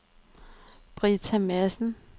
Britta Madsen